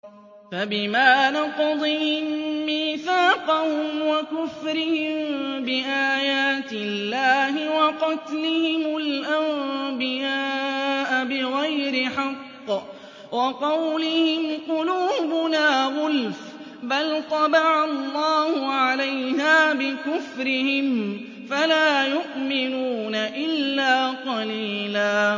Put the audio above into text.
فَبِمَا نَقْضِهِم مِّيثَاقَهُمْ وَكُفْرِهِم بِآيَاتِ اللَّهِ وَقَتْلِهِمُ الْأَنبِيَاءَ بِغَيْرِ حَقٍّ وَقَوْلِهِمْ قُلُوبُنَا غُلْفٌ ۚ بَلْ طَبَعَ اللَّهُ عَلَيْهَا بِكُفْرِهِمْ فَلَا يُؤْمِنُونَ إِلَّا قَلِيلًا